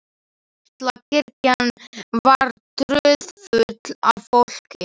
Litla kirkjan var troðfull af fólki.